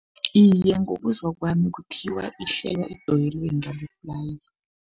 Iye, ngokuzwa kwami kuthiwa ihlelwa edoyelweni laboflayi.